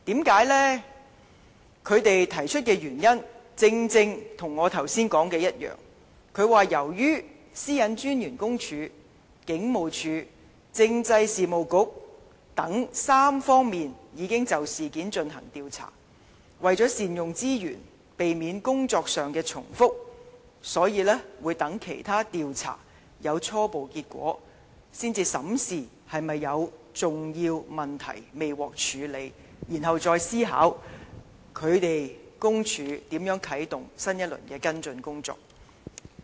他們提出的原因，正正與我剛才說的一樣，由於私隱專員公署、警務處和政制及內地事務局等3方面已經就事件進行調查，為了善用資源，避免工作上的重複，所以待其他調查有初步結果，才審視是否有重要問題未獲處理，然後再思考公署如何啟動新一輪的跟進工作。